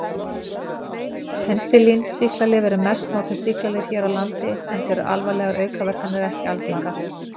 Penisilín-sýklalyf eru mest notuðu sýklalyf hér á landi enda eru alvarlegar aukaverkanir ekki algengar.